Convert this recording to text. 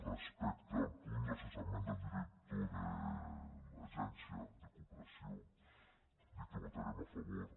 respecte al punt de cessament del director de l’agència de cooperació dir que hi votarem a favor